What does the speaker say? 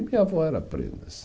E minha avó era